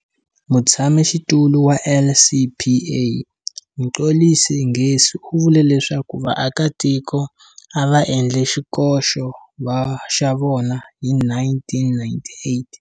Mutshamaxitulu wa LCPA, Mxolisi Ngesi u vule leswaku vaakatiko a va endle xikoxo xa vona hi 1998.